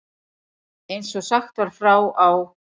Eins og sagt var frá á